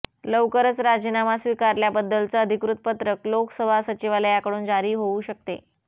लवकरच राजीनामा स्वीकारल्याबद्दलचं अधिकृत पत्रक लोकसभा सचिवालयाकडून जारी होऊ शकते